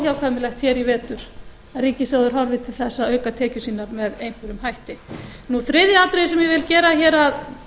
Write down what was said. óhjákvæmilegt hér í vetur að ríkissjóður horfi til þess að auka tekjur sínar með einhverjum hætti þriðja atriðið sem ég vil gera hér að